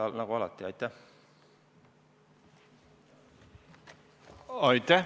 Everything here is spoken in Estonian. Aitäh!